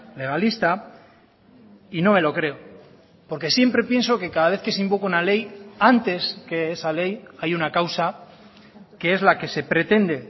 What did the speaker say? legalista y no me lo creo porque siempre pienso que cada vez que se invoca una ley antes que esa ley hay una causa que es la que se pretende